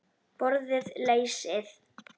Borðið lesið.